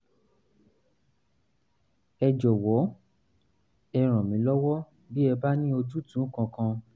ẹ jọ̀wọ́ ẹ ràn mí lọ́wọ́ bí ẹ bá ní ojútùú kankan